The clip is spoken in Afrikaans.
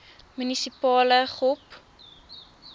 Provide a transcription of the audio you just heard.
munisipale gop